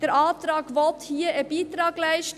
Hier will der Antrag einen Beitrag leisten.